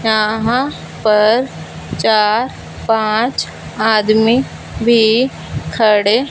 यहां पर चार पांच आदमी भी खड़े --